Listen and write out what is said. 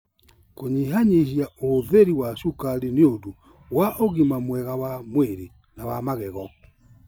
Kũnyihanyihia ũhũthĩri wa cukari nĩ ũndũ wa ũgima mwega wa mwĩrĩ na wa magego.